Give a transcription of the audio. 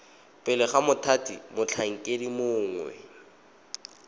pele ga mothati motlhankedi mongwe